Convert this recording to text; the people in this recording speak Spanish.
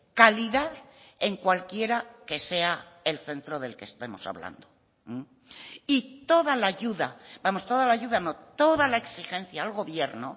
calidad en cualquiera que sea el centro del que estemos hablando y toda la ayuda vamos toda la ayuda no toda la exigencia al gobierno